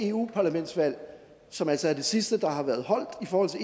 europaparlamentsvalg som altså er det sidste der har været afholdt